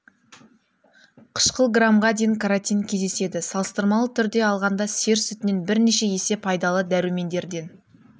қышқыл грамға дейін каротин кездеседі салыстырмалы түрде алғанда сиыр сүтінен бірнеше есе пайдалы дәрумендерден